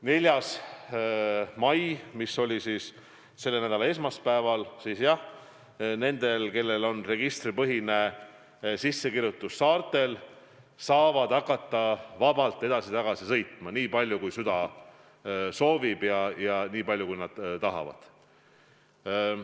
4. mail ehk siis selle nädala esmaspäeval avanes nendele, kellel on registripõhine sissekirjutus saartel, võimalus hakata vabalt edasi-tagasi sõitma, nii palju kui süda soovib, nii palju kui nad tahavad.